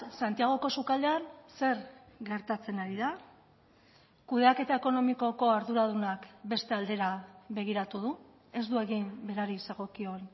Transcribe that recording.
santiagoko sukaldean zer gertatzen ari da kudeaketa ekonomikoko arduradunak beste aldera begiratu du ez du egin berari zegokion